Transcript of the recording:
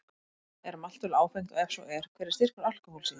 Er maltöl áfengt og ef svo er, hver er styrkur alkóhóls í því?